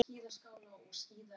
Ef það var hrútur.